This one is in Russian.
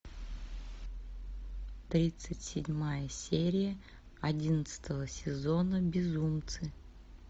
тридцать седьмая серия одиннадцатого сезона безумцы